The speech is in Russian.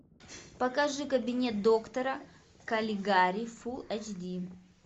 покажи кабинет доктора калигари фул эйч ди